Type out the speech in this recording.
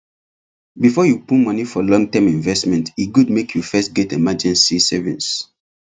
before you put money for long term investment e good make you first get emergency savings